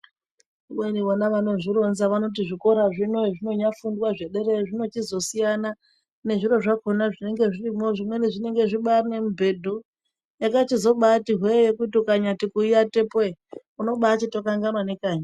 Kubeni vana vanozvironza vanoti zvikora zvino hezvinonyafundwa zvederayo zvinochizo siyana nezviro zvakona zvinenge zvirimwo, zvimweni zvinenge zvibaari nemibhedhu, yakachizobaati hwee yekuti ukanyati kuyiatepo ere, unobaachito kanganwa nekanyi.